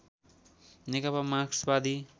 नेकपा मार्क्सवादी